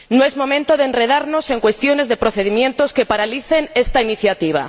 No es momento de enredarnos en cuestiones de procedimientos que paralicen esta iniciativa.